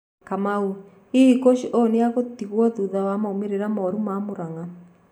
Kamau:Hihi kochi ũyũ nĩegutigwo thutha wa maũmĩriro moru ma Muranga.